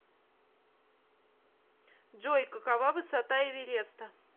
джой какова высота эвереста